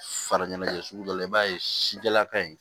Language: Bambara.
Fara ɲɛnɛjɛ sugu dɔ la i b'a ye sijɛla ka ɲi